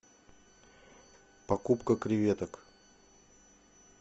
покупка креветок